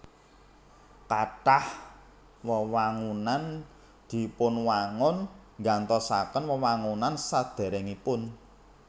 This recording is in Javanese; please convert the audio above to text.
Kathah wewangunan dipunwangun nggantosaken wewangunan sadèrèngipun